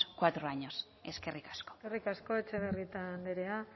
cuatros años eskerrik asko eskerrik asko etxebarrieta andrea